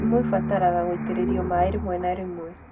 Ndimũ ĩbataraga gũitĩrĩrio maĩ rĩmwe na rĩmwe